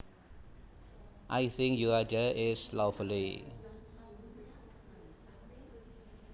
I think your idea is lovely